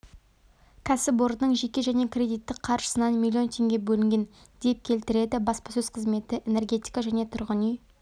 кәсіпорынның жеке және кредиттік қаржысынан миллион теңге бөлінген деп келтіреді баспасөз қызметі энергетика және тұрғын-үй